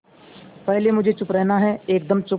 पहले मुझे चुप रहना है एकदम चुप